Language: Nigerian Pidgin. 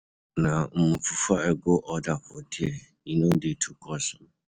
Na um fufu I go order for there, e no dey too cost. um